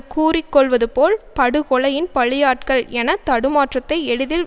கூறிக்கொள்வதுபோல் படுகொலையின் பலியாட்கள் என தடுமாற்றத்தை எளிதில்